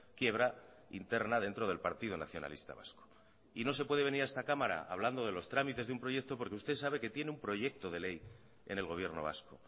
quiebra interna dentro del partido nacionalista vasco y no se puede venir a esta cámara hablando de los trámites de un proyecto porque usted sabe que tiene un proyecto de ley en el gobierno vasco